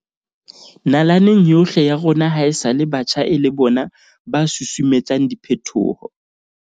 Nalaneng yohle ya rona hae-sale batjha e le bona ba susumetsang diphetoho.